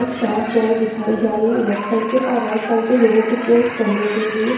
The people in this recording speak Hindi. चार चेयर दिखाई जा रही है लेफ्ट साइड पे और राइट साइड पे लोगों की चीयर्स करने के लिए --